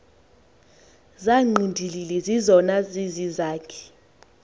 zangqindilili zizona zizizakhi